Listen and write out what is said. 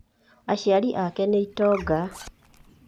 Aciari ake nĩ itonga.